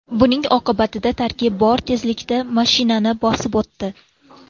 Buning oqibatida tarkib bor tezlikda mashinani bosib o‘tdi.